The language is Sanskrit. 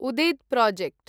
उदिद् प्रोजेक्ट्